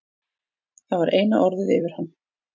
Það var eina orðið yfir hann.